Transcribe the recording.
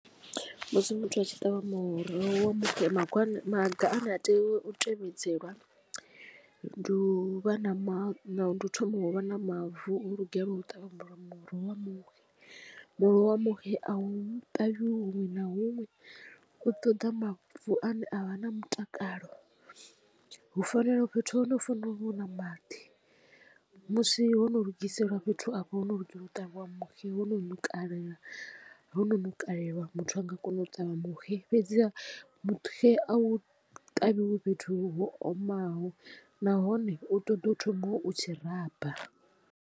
Musi muthu a tshi ṱavha muroho wa muxe maga ane a tea u tevhedzela ndi u vha na mavu ndi u thoma wa vha na mavu o lugelwa u ṱavha muroho. Muroho wa muxe a u ṱavhiwi huṅwe na huṅwe u ṱoḓa mavu ane avha na mutakalo hu fanela fhethu ha hone hu fanela uvha hu na maḓi musi ho no lugiselwa fhethu afho ho no lugela u ṱavhiwa muxe wo no no kalela hono ṋukalelwa muthu a nga kona u ṱavha muxe fhedziha muxe a u ṱavhiwi fhethu ho omaho nahone u ṱoḓa u thoma u tshiraba.